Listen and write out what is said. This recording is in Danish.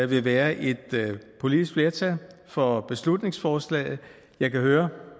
vil være et politisk flertal for beslutningsforslaget jeg kan høre